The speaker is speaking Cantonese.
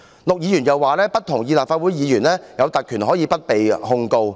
陸議員又指不認同立法會議員享有不被控告的特權。